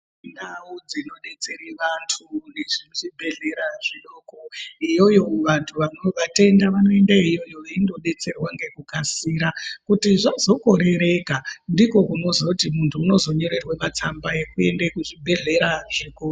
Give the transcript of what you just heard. Ndau dzinodetsere vantu Nezvibhedhlera zvidoko iyoyo antu vano vatenda anoendeyo veindodetserwa ngekukasira kuti zvazokorereka ndikwo kunozoti muntu unozonyorerwe yekuende kuzvibhedhlera zvikuru.